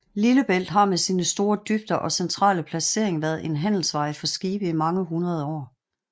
Lillebælt har med sine store dybder og centrale placering været en handelsvej for skibe i mange hundrede år